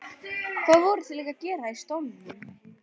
Hvað voru þau líka að gera í stólnum?